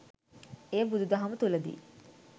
එය බුදු දහම තුළ දී